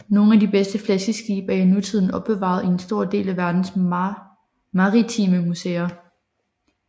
Nogle af de bedste flaskeskibe er i nutiden opbevaret i en stor del af verdens maritime museer